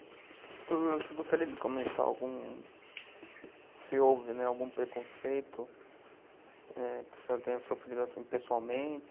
você eu gostaria de comentar algum, se houve, né, algum preconceito, eh, que o senhor tenha sofrido pessoalmente,